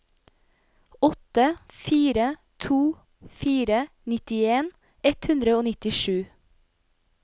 åtte fire to fire nittien ett hundre og nittisju